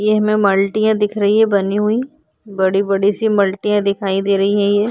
ये हमें मल्टियाँ दिख रही हैं बनी हुई बड़ी-बड़ी सी मल्टियाँ दिखाई दे रही हैं ये।